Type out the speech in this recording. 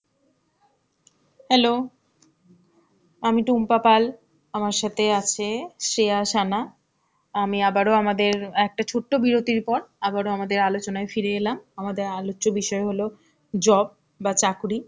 hello. আমি টুম্পা পাল, আমার সাথে আছে শ্রেয়া সানা. আমি আবারো আমাদের একটা ছোট্ট বিরতি পর, আবারো আমাদের আলোচনায় ফিরে এলাম. আমাদের আলোচ্য বিষয় হলো job, বা চাকরি.